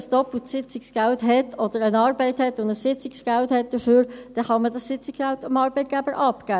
Wenn jemand eine Arbeit hat und zusätzlich Sitzungsgeld erhält, kann man dieses Sitzungsgeld dem Arbeitgeber abgeben.